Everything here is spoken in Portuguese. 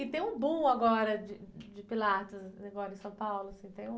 E tem um boom agora de, de Pilates, assim, agora em São Paulo, tem um...